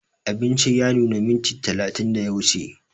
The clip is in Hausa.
Abinci ya nuna minti talatin da ya wuce